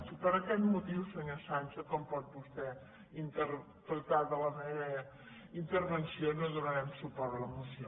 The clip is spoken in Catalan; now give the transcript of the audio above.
i per aquest motiu senyor sancho com pot vostè in·terpretar de la meva intervenció no donarem suport a la moció